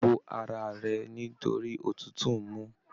Bò ara rẹ̀ nitori òtútù m